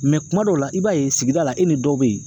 kuma dɔw la, i b'a ye sigida la, e ni dɔw be yen